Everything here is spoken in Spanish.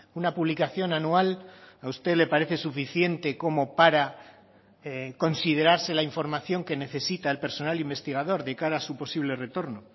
una publicación anual a usted le parece suficiente como para considerarse la información que necesita el personal investigador de cara a su posible retorno